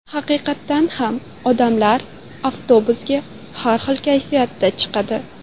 Haqiqatan ham odamlar avtobusga har xil kayfiyatda chiqadi.